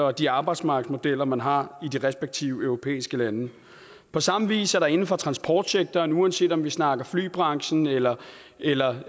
og de arbejdsmarkedsmodeller man har i de respektive europæiske lande på samme vis er der inden for transportsektoren uanset om vi snakker flybranchen eller eller